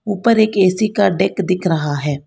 ऊपर एक ए_सी का डेक दिख रहा है।